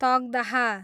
तकदाह